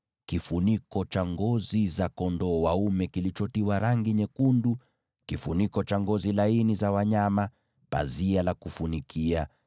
kifuniko cha ngozi za kondoo dume kilichotiwa rangi nyekundu, kifuniko cha ngozi za pomboo, pazia la kufunikia;